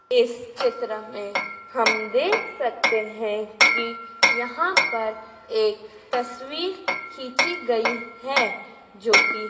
इस चित्र में हम देख सकते हैं कि यहां पर एक तस्वीर खींची गई है जो की--